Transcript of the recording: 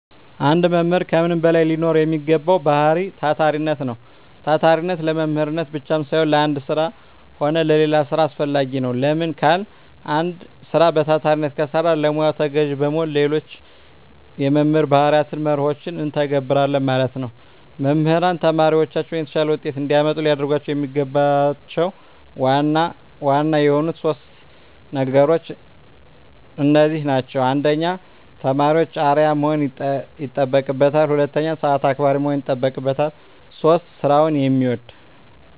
አንድ መምህር ከምንም በላይ ሊኖረዉ የሚገባዉ ባህሪይ ታታሪነት ነዉ። ታታሪነት ለመምህርነት ብቻም ሳይሆን ለአንድ ስራ ሆነ ለሌላ ስራ አስፈላጊ ነዉ። ለምን ካልን አንድ ስራ በታታሪነት ከሰራን ለሙያዉ ተገዢ በመሆን ሌሎች የመምህር ባህርያትንና መርሆችን እንተገብረለን ማለት ነዉ። መምህራን ተማሪዎቻቸውን የተሻለ ዉጤት እንዲያመጡ ሊያደርጓቸዉ የሚገባቸዉ ዋና ዋና የሆኑት 3 ነገሮች እነዚህ ናቸዉ። 1. ለተማሪዎች አርዕያ መሆን ይጠበቅበታል። 2. ሰአት አክባሪ መሆን ይጠበቅበታል። 3. ስራዉን የሚወድ።